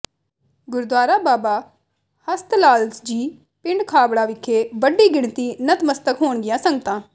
ਗੁਰਦੁਆਰਾ ਬਾਬਾ ਹਸਤਲਾਲ ਜੀ ਪਿੰਡ ਖਾਬੜਾ ਵਿਖੇ ਵੱਡੀ ਗਿਣਤੀ ਨਤਮਸਤਕ ਹੋਣਗੀਆ ਸੰਗਤਾਂ